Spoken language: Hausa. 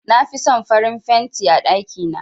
Na fi son farin fenti a ɗakina.